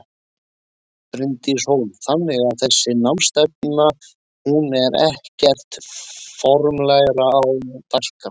Bryndís Hólm: Þannig að þessi námsstefna hún er ekkert formlegra á dagskrá?